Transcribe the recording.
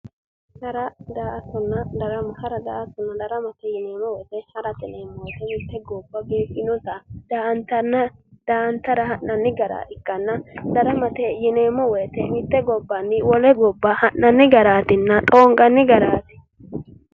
Hara daa'attonna darama:- hara daa'attonna darama yineemmo woyite harate yineemmo woyite mitte goba biiffinotta daa'antara ha'nannita ikanna daramate yineemmo woyite mitte gobbanni wole gobba ha'nanni garaatinna xoonqanni garaati